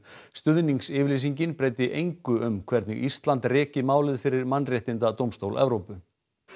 stuðningsyfirlýsingin breyti engu um hvernig Ísland reki málið fyrir Mannréttindadómstól Evrópu